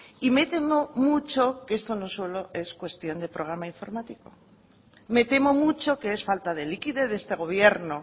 y me temo mucho que esto no solo es cuestión de programa informático me temo mucho que es falta de liquidez de este gobierno